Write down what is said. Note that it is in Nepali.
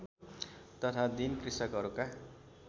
तथा दीन कृषकहरूका